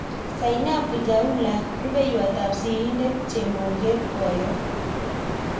Zainabu Chaula-Rupeiywot ap sirindet chemoget-poyot